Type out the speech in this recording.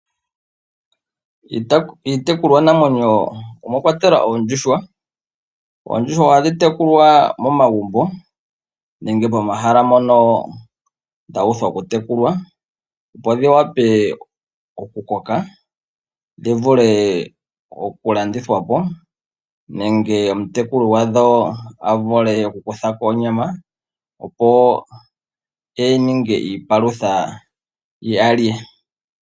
Iitekulwa namwenyo omwakwatelwa oondjuhwa. Oondjuhwa ohadhi tekulwa momagumbo nenge pomahala mpoka dhuuthwa okutekulwa opo dhi vule okukoka dhivule okulandithwa po nenge omutekuli gwadho a vule oku kuthako onyama opo yalye.